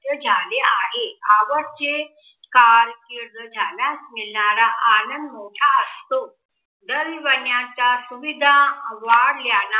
झाले आहे आवड जे कारकीर्द ज्याला मिळणारा आनंद मोठा असतो. सुविधा वाढल्याना